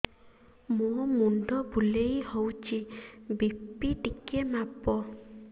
ମୋ ମୁଣ୍ଡ ବୁଲେଇ ହଉଚି ବି.ପି ଟିକେ ମାପ